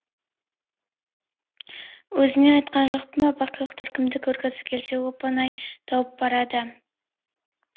өзіңе айтқан жоқпын ба бақилықтар кімді көргісі келсе оп оңай тауып барады